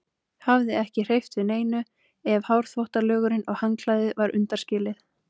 Hafði ekki hreyft við neinu ef hárþvottalögurinn og handklæðið var undanskilið.